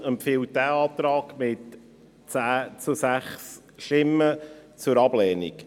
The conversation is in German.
Die FiKo empfiehlt diesen Antrag mit 10 zu 6 Stimmen zur Ablehnung.